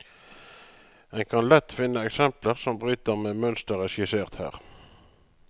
En kan lett finne eksempler som bryter med mønsteret skissert her.